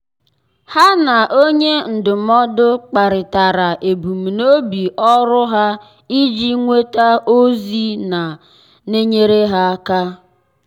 há na onye ndụmọdụ kparịtara ebumnobi ọ́rụ́ ha iji nwéta ózị́ nà-ènyéré áká.